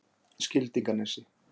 Skildinganesi